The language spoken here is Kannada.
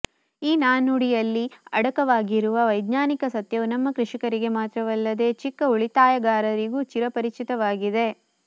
ಈ ನಾಣ್ಣುಡಿಯಲ್ಲಿ ಅಡಕವಾಗಿರುವ ವೈಜ್ಞಾನಿಕ ಸತ್ಯವು ನಮ್ಮ ಕೃಷಿಕರಿಗೆ ಮಾತ್ರವಲ್ಲದೆ ಚಿಕ್ಕ ಉಳಿತಾಯಗಾರರಿಗೂ ಚಿರಪರಿಚಿತವಾಗಿದೆ